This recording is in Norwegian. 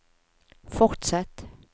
fortsett